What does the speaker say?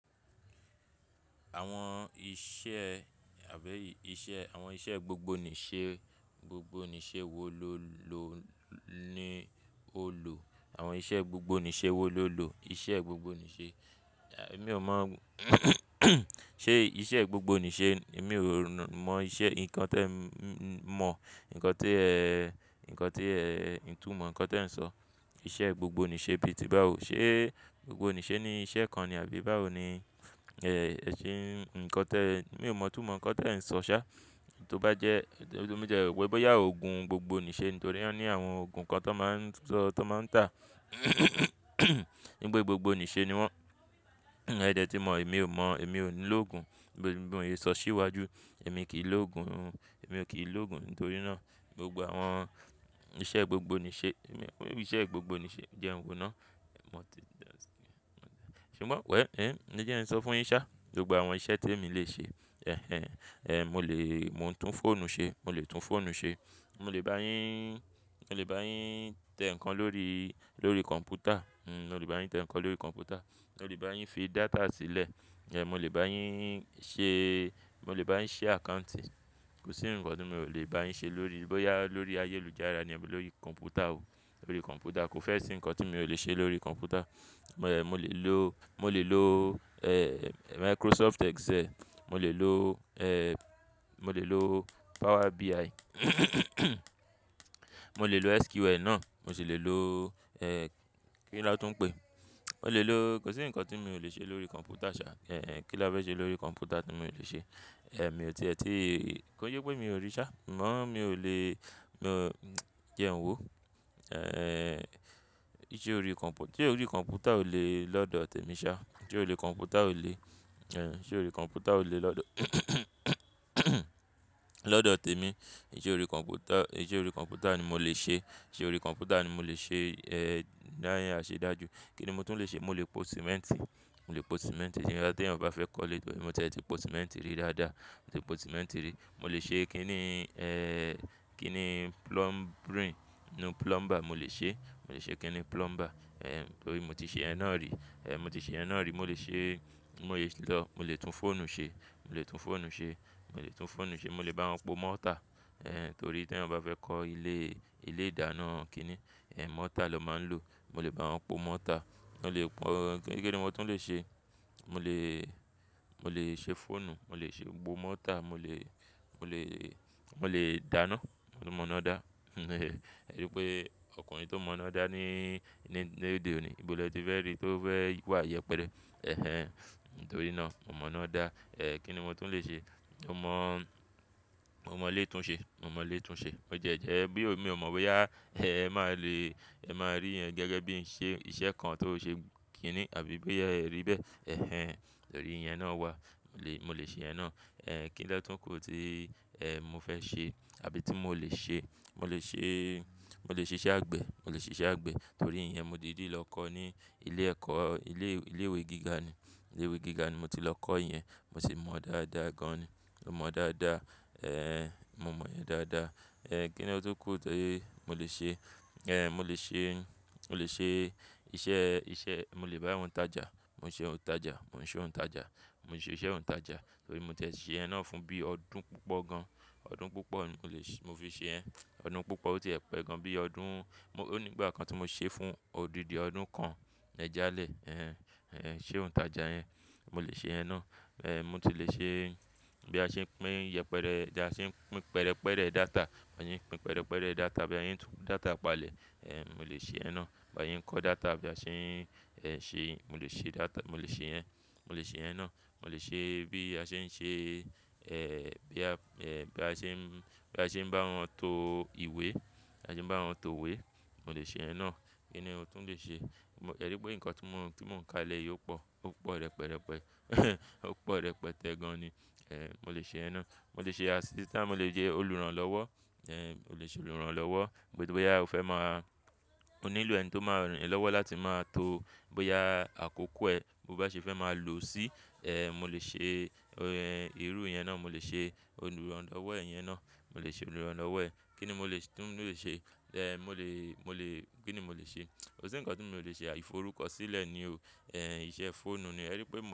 Àwọn iṣẹ́ àbí iṣẹ́, àwọn iṣẹ́ gbogbo nìṣe, gbogbo nìṣe wò ló lo ni ó lò. Àwọn iṣẹ́ gbogbo nìṣe wo ló lò? Ìṣẹ́ gbogbo nìṣe, èmi ò mọ̀ ṣé ìṣe gbogbo nìṣe èmi ò mọ̀ iṣẹ́ nǹkan tí ẹ mọ̀, nǹkan tí ẹ, nǹkan tí ẹ ǹtú mọ̀, nǹkan tí ẹ̀ ń sọ. Ìṣẹ́ gbogbo nìṣe bí i ti bá ò, ṣé gbogbo nìṣe ni iṣẹ́ kan ni àbí báwo ni, eh, ṣé nǹkan tí ẹ, èmi ò mọ̀ itúnmọ nǹkan tí ẹ̀ ń sọ ṣá. To bá jẹ́, motiẹ́ ro wípé bóyá òògùn gbogbo nìṣe nítorí wọ́n ní àwọn òògùn kan tó won máa ń sọ, ti won máa ń tà nípé gbogbo nìṣe ni wọ́n. Ẹ dẹ́ tí mọ̀ èmi ò mọ̀, èmi ò nílò òògùn. Bi mo se so sí iwájú, èmi kì í lò òògùn, èmi ò kí í lò òògùn nítorí náà gbogbo àwọn iṣẹ́ gbogbo nìṣe, iṣẹ́ gbogbo nìṣe jẹ n wó náà. Mọ̀ tí, ṣùgbọ́n wẹ̀ll, ẹ̀jẹ̀ kin sọ fún yín ṣá, gbogbo àwọn iṣẹ́ tí èmi lè ṣe. Ẹhẹn, èè, mo lè, mo ń tún fóònù ṣe, mo lè tún fóònù ṣe. Mo lè bá yín, mo lè bá yín tẹ nǹkan lórí, lórí kọ̀m̀pútà, mo lè bá yín tẹ nǹkan lórí kọ̀m̀pútà. Mo lè bá yín fi data sílẹ̀. Iyen, mo lè bá yín ṣe, mo lè bá yín ṣi àccountì. Kò sí nǹkan tí mi o lè bá yín ṣe lórí, bóyá lórí ayélujára ni lórí kọ̀m̀pútà o, lórí kọ̀m̀pútà. Kò fẹ́ sí nǹkan tí mo lè ṣe lórí kọ̀m̀pútà. Mo lè lo, mo lè lo, eh, Microsoft Excel. Mo lè lo, eh, mo lè lo Power BI. Mo lè lo SQL náà, mo sì lè lo, eh, kí ni a tún ń pè e? Mo lè lo, kò sí nǹkan tí mi o lè ṣe lórí kọ̀m̀pútà ṣhá. Ẹ̀hẹn, kí ni a fẹ́ ṣe lórí kọ̀m̀pútà tí mi o lè ṣe? Mi ò ti ẹ́ tí, kó kin sẹ pé mi ò rí ṣhá. Ṣùgbọ́n mi ò lè, jẹ n wò. Ẹ̀hẹn, ìṣe orí kọ̀m̀pútà, ìṣe orí kọ̀m̀pútà ò lè lọ́dọ̀ tèmi ṣá. Ìṣe orí kọ̀m̀pútà ò lè, ẹ̀hẹn, ìṣe orí kọ̀m̀pútà ò lè lọ́dọ̀ lọ́dọ̀ tèmi. Ìṣe orí kọ̀m̀pútà, ìṣe orí kọ̀m̀pútà ni mo lè ṣe. Ìṣe orí kọ̀m̀pútà ni mo lè ṣe, eh, dá ni ṣe dáa ju. Kí ni mo tún lè ṣe? Mo lè po símẹ́ǹtì, mo lè po símẹ́ǹtì. Boya tí ẹnì bá fẹ́ kọ́ ilé, mo ti ẹ ti po símẹ́ǹtì rí dáa dáa. Mo ti po símẹ́ǹtì rí. Mo lè ṣe kí ni, eh, kí ni plumbing, no plumber mo lè ṣe. Mo lè ṣe kí ni plumber. Ẹ̀hẹn, torí mo ti ṣe yẹn náà rí. Ẹ̀hẹn, mo ti ṣe ẹ náà rí. Mo lè ṣe, mo lè lọ, mo lè tún fóònù ṣe. Mo lè tún fóònù ṣe. Mo lè tún fóònù ṣe. Mo lè bá wọn po mọ́ otà. Torí tí eeyan bá fẹ́ kọ́ ilé, ilé ìdáná kí ni, mọ́tà lọ́ máa ń lò. Mo lè bá wọn po mọ́tà. Mo lè pọ́n, kí ni mo tún lè ṣe? Ẹ̀hẹn, mo ti ṣe ẹ náà rí. Mo lè ṣe, mo lè lọ, mo lè tún fóònù ṣe. Mo mo ina da, tori ọkùnrin to mo na da ni- lo de oni, nibo le ti fe ri to fe wa yẹpẹrẹ ẹ̀hẹn, torí na, mo mona da ẹ̀hẹn, kí ni mo tún lè ṣe? Mo mo- mo ile tun se mo mo le tun se, bo ti e je, tho mi o mo boya e ma le, e ma ri iyen bi iṣẹ́ kan to se kini àbí boye pe e ri be, ehnehn torí yen na wa e mo le seyen náà ẹ kilotun ti- e mo fe se, àbí ti mo le se mo lè ṣe, mo lè ṣe iṣẹ́ àgbẹ̀, mo lè ṣe iṣẹ́ àgbẹ̀ torí iyen mo diidí lọ kọ́ ní ilé ẹ̀kọ́, ilé, ilé ìwé gíga ni. Ilé ìwé gíga ni mo ti lọ kọ́ yin. Mo sì mọ̀ ọ́ dáa dáa gan ni. Mo mọ̀ ọ́ dáa dáa. Mo mọ̀ iyen dáa dáa. Kí ni ọ̀ tún kù ti mo lè ṣe? Mo lè ṣe, mo lè ṣe iṣẹ́, mo lè báwọ̀n tajà. Mo ṣe òǹtajà, mo ń ṣe òǹtajà. Mo ń ṣe iṣẹ́ òǹtajà torí mo ti ẹ sì ṣeyen náà fún bí i ọdún púpọ̀ gan. Ọdún púpọ̀ ni mo fi ṣe iyen. Ọdún púpọ̀ ó ti ẹ̀ pẹ́ gan bí i ọdún, ó ní ìgbà kan tí mo ṣé fún odidi ọdún kan jálẹ̀. Iṣe òǹtajà yẹn. Mo lè ṣe ẹ náà. Mo ti lè ṣe bí a ṣe ń pín yẹpẹre, bí a ṣe ń pín pẹrẹpẹrẹ data. Bi a se n pín pẹrẹpẹrẹ data bí a se n tú data palẹ̀. Mo lè ṣe iyen náà. Bí a se n kọ́ data, bí a ṣe ń ṣe, mo lè ṣe data, mo lè ṣe iyen. Mo lè ṣe iyen náà. Mo lè ṣe bí a ṣe ń ṣe bí ń bá wọn to ìwé. Bí a ṣe ń bá wọn to ìwé, mo lè ṣe iyen náà. Kí ni mo tún lè ṣe? Ẹ rí i pé nǹkan tí mò ń ka lẹ́ yìí o pọ̀. Ó pọ̀ rẹpẹrẹpẹ. Ó pọ̀ rẹpẹtẹ́ gan ni. Ẹ̀hẹn, mo lè ṣe ẹ náà. Mo lè ṣe asístànce, mo dè jẹ́ olùrànlọ́wọ́. Ẹ̀hẹn, mo lè ṣe olùrànlọ́wọ́. Bóyá o fẹ́ máa, o nílò ẹni tí o máa ran e lọ́wọ́ láti máa to bóyá àkókò ẹ bó bá ṣe fẹ́ máa lò sí. Mo lè ṣe irú yẹn náà, mo lè ṣe olùrànlọ́wọ́ iyẹn náà. Mo lè ṣe olùrànlọ́wọ́ ẹ̀. Kí ni mo lè tún lè ṣe? Ẹ̀hẹn, mo lè, mo lè, kí ni mo lè ṣe? Kò sí nǹkan tí mo lè ṣe. Ìforúkọsílẹ̀ ni o. Iṣẹ́ fóònù ni. Ẹ rí i pé mò.